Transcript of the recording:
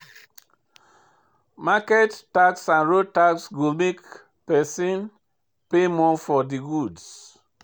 Market tax and road tax go make pesin pay more for di goods.